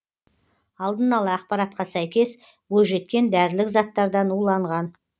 алдын ала ақпаратқа сәйкес бойжеткен дәрілік заттардан уланған